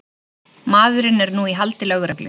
Maðurinn er nú í haldi lögreglu